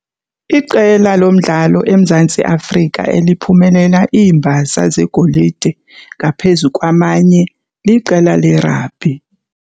Iqela lomdlalo eMzantsi Afrika eliphumelela iimbasa zegolide ngaphezu kwamanye liqela lerabhi.